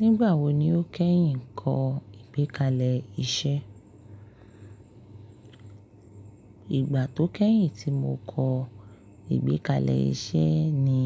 Nígbàwo ni o kẹ́yìn kọ ìgbékalẹ̀ iṣẹ́? Ìgbà tó kẹ́yìn tí mo kọ ìgbékalẹ̀ iṣẹ́ ni